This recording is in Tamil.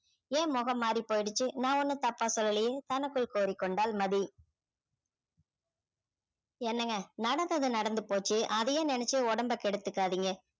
ஏன் முகம் மாறி போயிடுச்சு நான் ஒண்ணும் தப்பா சொல்லலையே தனக்குள் கூறிக் கொண்டாள் மதி என்னங்க நடந்தது நடந்து போச்சு அதையே நினைச்சு உடம்ப கெடுத்துக்காதீங்க